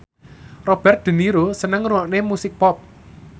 Robert de Niro seneng ngrungokne musik pop